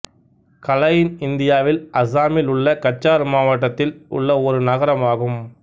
கலைன் இந்தியாவில் அசாமில் உள்ள கச்சார் மாவட்டத்தில் உள்ள ஒரு நகரம் ஆகும்